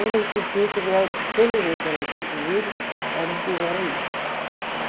cortiço eu já pelejei para elas irem comigo, elas não quiseram ir.